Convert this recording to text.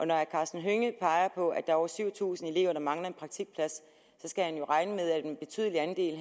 når herre karsten hønge peger på at er over syv tusind elever der mangler en praktikplads så skal han jo regne med at en betydelig andel